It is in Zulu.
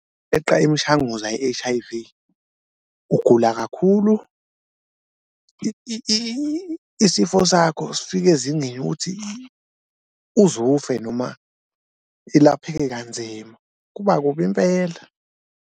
Imishanguzo ye-H_I_V ugula kakhulu isifo sakho sifike ezingeni lokuthi uze ufe noma ilapheke kanzima, kuba kubi impela.